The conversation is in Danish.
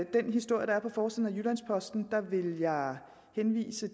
den historie der er på forsiden af jyllands posten vil jeg henvise